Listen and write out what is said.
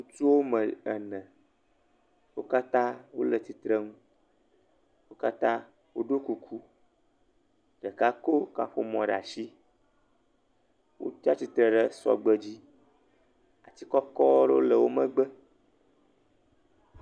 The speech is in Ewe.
Ŋutsu wo me ene. Wo katã wole tsitrenu. Wo katã wo ɖo kuku. Ɖeka ko kaƒomɔ ɖe asi. Wotsia tsitre ɖe sɔgbe dzi. Atsi kɔkɔ ɖe le wo megbe.